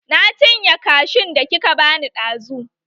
Na cinye kashun da kika bani ɗazu.